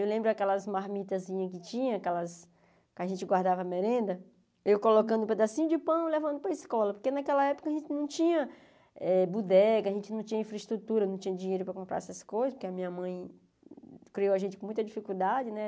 Eu lembro aquelas marmitazinhas que tinha, aquelas que a gente guardava merenda, eu colocando um pedacinho de pão e levando para a escola, porque naquela época a gente não tinha eh budega, a gente não tinha infraestrutura, não tinha dinheiro para comprar essas coisas, porque a minha mãe criou a gente com muita dificuldade, né?